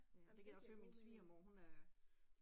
Ej, men det giver god mening